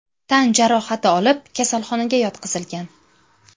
tan jarohati olib, kasalxonaga yotqizilgan.